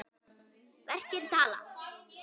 Verkin tala.